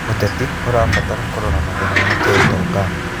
ũteti ũrabatara kũrora mathĩna ma kĩũtong.